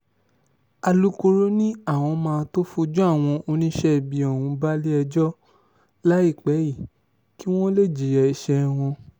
alūkkóró ni àwọn máa tóó fojú àwọn oníṣẹ́ ibi ọ̀hún balẹ̀-ẹjọ́ láìpẹ́ yìí kí wọ́n lè jìyà ẹsẹ̀ wọn